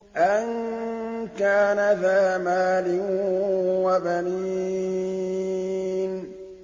أَن كَانَ ذَا مَالٍ وَبَنِينَ